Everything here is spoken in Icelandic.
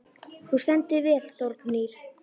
Þú stendur þig vel, Þórgnýr!